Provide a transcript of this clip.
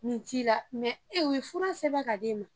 Nin ti la u ye fura sɛbɛn ka di e ma.